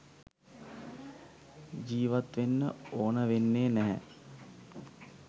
ජීවත්වෙන්න ඕන වෙන්නේ නැහැ